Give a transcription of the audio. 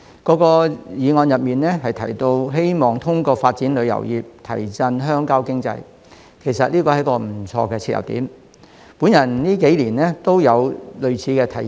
各議案提到希望通過發展旅遊業提振鄉郊經濟，其實這是一個不錯的切入點，我近幾年都有類似的提議。